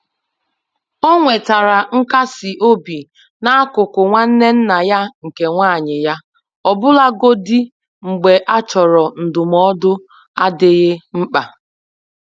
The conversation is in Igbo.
Ọ nwetara nkasi obi na akụkọ nwanne nna ya nke nwanyị ya, ọbụlagodi mgbe a chọrọ ndụmọdụ adịghị mkpa.